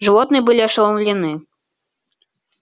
животные были ошеломлены